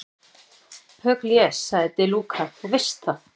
Pugliese, sagði De Luca, þú veist það.